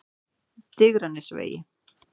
Digranesvegi